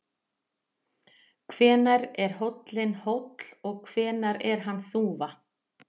Hvenær er hóllinn hóll og hvenær er hann þúfa?